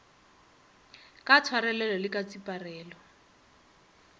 ka tshwarelelo le ka tseparelo